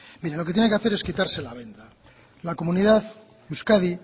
mire lo que tiene que hacer es quitarse la venda la comunidad euskadi